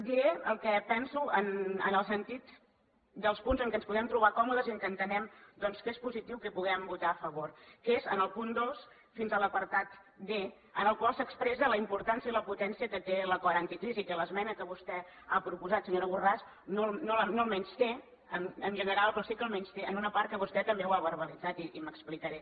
diré el que penso en el sentit dels punts en què ens podem trobar còmodes i en què entenem doncs que és positiu que hi puguem votar a favor que és en el punt dos fins a l’apartat d en el qual s’expressa la importància i la potència que té l’acord anticrisi i que l’esmena que vostè ha proposat senyora borràs no el menysté en general però sí que el menysté en una part que vostè també l’ha verbalitzat i m’explicaré